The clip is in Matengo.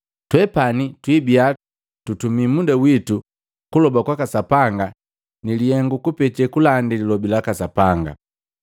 Twepani twiibia tutumi muda witu kuloba kwaka Sapanga nilihengu lukupeta kulandi lilobi laka Sapanga.”